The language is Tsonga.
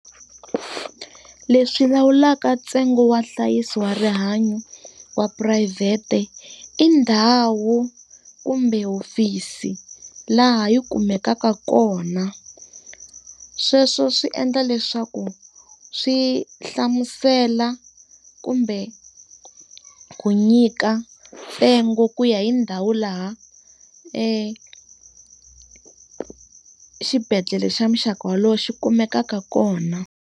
Leswi lawulaka ntsengo wa nhlayiso wa rihanyo wa phurayivhete, i ndhawu kumbe hofisi laha yi kumekaka kona. Sweswo swi endla leswaku swi hlamusela kumbe ku nyika ntsengo ku ya hi ndhawu laha xibedhlele xa muxaka wolowo xi kumekaka kona.